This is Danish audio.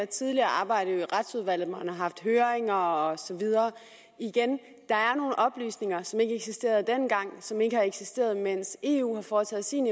tidligere arbejde i retsudvalget hvor man har haft høringer og så videre igen der er nogle oplysninger som ikke eksisterede dengang og som ikke har eksisteret mens eu har foretaget sin